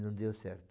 Não deu certo.